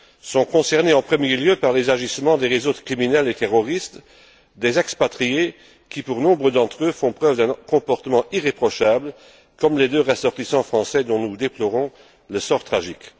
Sont concernés en premier lieu par les agissements des réseaux de criminels et terroristes, des expatriés qui, pour nombre d'entre eux, font preuve d'un comportement irréprochable, comme les deux ressortissants français dont nous déplorons le sort tragique.